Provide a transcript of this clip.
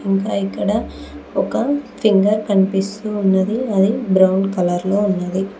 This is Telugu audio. ఇంకా ఇక్కడ ఒక ఫింగర్ కనిపిస్తూ ఉన్నది అది బ్రౌన్ కలర్ లో ఉన్నది.